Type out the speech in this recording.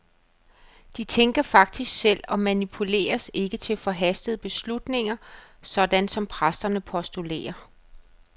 De tænker faktisk selv, og manipuleres ikke til forhastede beslutninger, sådan som præsterne postulerer.